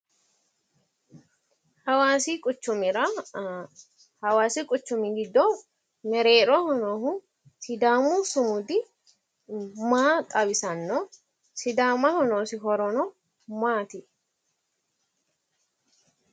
Hawasa quchumira ,hawasi quchumi giddo mereeroho noohu sidaamu sumudi maa xawisanno? Sidaamaho noosi horono maati?